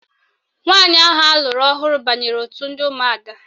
Nwaanyị ahụ alụrụ ọhụrụ banyere otu ndị ụmụada